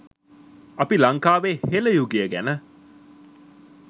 අපි ලංකාවේ හෙළ යුගය ගැන